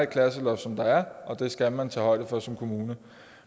klasseloft som der er og det skal man tage højde for som kommune